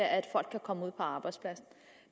at folk kan komme ud på arbejdsmarkedet